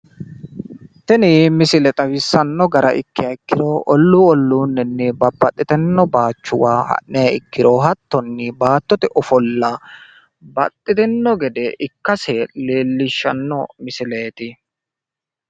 Tini misile xawisanno gara ikkiha ikkiro olluu olluunninni babbaxxitino bayiichuwa ha'niha ikkiro hattonni baattote ofolla baxxitinno gede ikkase leellishshanno misileeti.